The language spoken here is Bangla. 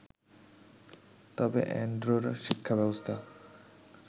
তবে অ্যান্ডোরার শিক্ষাব্যবস্থা